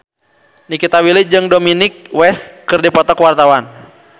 Nikita Willy jeung Dominic West keur dipoto ku wartawan